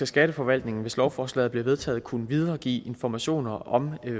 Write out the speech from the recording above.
skatteforvaltningen hvis lovforslaget bliver vedtaget kunne videregive informationer om